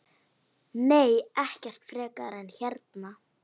Nei, ekkert frekar en hérna.